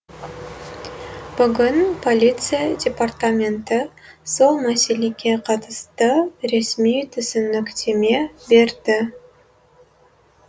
бүгін полиция департаменті сол мәселеге қатысты ресми түсініктеме берді